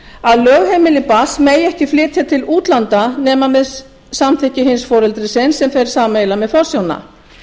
að lögheimili barns megi ekki flytja til útlanda nema með samþykki hins foreldrisins sem fer sameiginlega með forsjána